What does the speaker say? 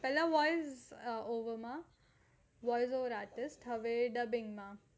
પેહલા voice over artist હવે dubbing માં